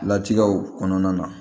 Latigɛw kɔnɔna na